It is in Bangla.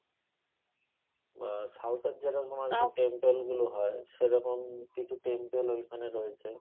বা south এর যেরকম temple গুলো হয় সেরকম কিছু temple ওইখানে রয়েছে